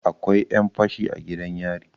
akwai 'yanfashi a gidan yari